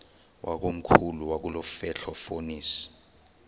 wakomkhulu wakulomfetlho fonis